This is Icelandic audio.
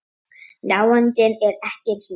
Nándin er ekki eins mikil.